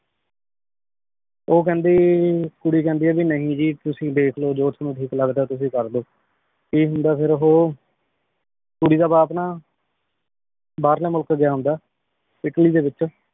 ਊ ਕੇਹ੍ਨ੍ਦੀ ਕੁਰੀ ਕੇਹ੍ਨ੍ਦੀ ਆ ਨਹੀ ਜੀ ਤੁਸੀਂ ਦੇਖਲੋ ਜੋ ਤਨੁ ਠੀਕ ਲਗਦਾ ਤੁਸੀਂ ਕਰ ਲੋ ਕੀ ਹੁੰਦਾ ਫੇਰ ਓਹੋ ਕੁਰੀ ਦਾ ਬਾਪ ਨਾ ਬਾਹਰਲੀ ਮੁਲਕ ਗਯਾ ਹੁੰਦਾ ਇਟਲੀ ਦੇ ਵਿਚ